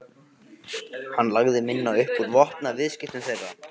Hann lagði minna upp úr vopnaviðskiptum þeirra.